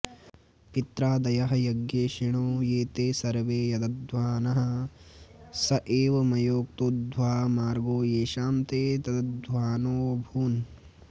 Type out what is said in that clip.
पित्रादयः यज्ञैषिणो ये ते सर्वे तदध्वानः स एव मयोक्तोऽध्वा मार्गो येषां ते तदध्वानोऽभूवन्